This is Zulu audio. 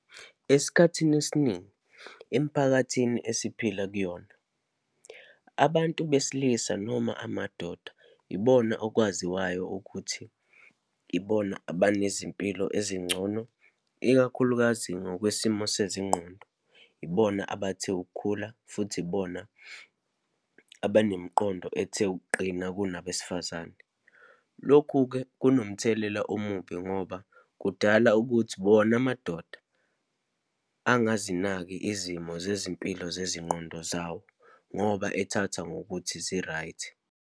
Esikhathini esiningi emphakathini esiphila kuyona, abantu besilisa, noma amadoda ibona okwaziwayo ukuthi ibona abanezimpilo ezingcono, ikakhulukazi ngokwesimo sezingqondo, ibona abathe ukukhula, futhi ibona abanemiqondo ethe ukuqina kunabesifazane. Lokhu-ke, kunomthelela omubi ngoba, kudala ukuthi bona amadoda angazinaki izimo zezimpilo zezinqondo zawo, ngoba ethatha ngokuthi zi-right.